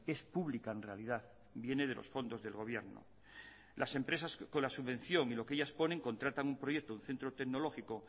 es pública en realidad viene de los fondos del gobierno las empresas con la subvención y lo que ellas ponen contratan un proyecto centro tecnológico